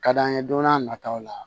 Ka d'an ye don n'a nataw la